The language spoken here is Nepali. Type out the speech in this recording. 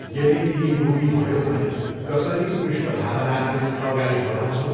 यदि तिमी रोगी भयौ भने कसरी कृष्णभावानामृत अगाडी बढाउँछौ?